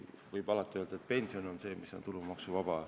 Võib alati öelda, et pension on see, mis on tulumaksuvaba.